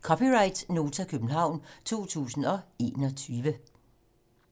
(c) Nota, København 2021